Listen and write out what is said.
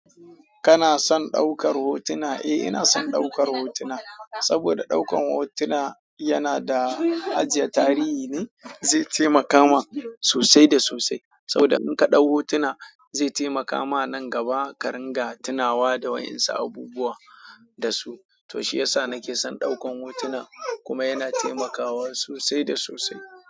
Kana son ɗaukar hotuna? Eh ina son ɗaukar hotuna, saboda ɗaukan hotuna yana da ajiya tarihi ne zai taimaka ma sosai da sosai. Saboda in ka ɗau hotuna zai taimaka ma nan gaba ka ringa tunawa da wa'insu abubuwa da su. To shiyasa nake son ɗaukan hotuna kuma yana taimakawa sosai da sosai.